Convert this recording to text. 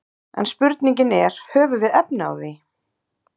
En spurningin er höfum við efni á því?